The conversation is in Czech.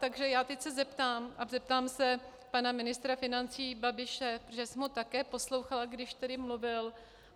Takže já se teď zeptám a zeptám se pana ministra financí Babiše, protože jsem ho také poslouchala, když tady mluvil.